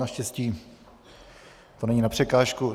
Naštěstí to není na překážku.